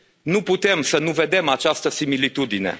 Nu putem să nu vedem această similitudine.